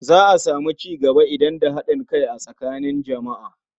Za a samu cigaba idan da haɗin kai tsakanin jama'a.